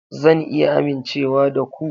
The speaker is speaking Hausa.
Zan iya amincewa da ku?